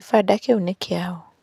Gĩbanda kĩu nĩ kĩao.